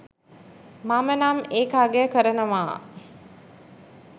මමනම් ඒක අගය කරනවා